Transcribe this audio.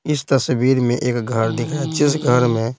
इस तस्वीर में एक घर दिखा जिस घर में--